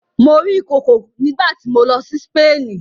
Mo rí ìkookò nígbà tí mo lọ sí Spain.